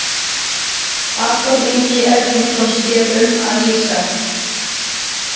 Adolf Ingi Erlingsson sér um að lýsa.